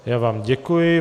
Já vám děkuji.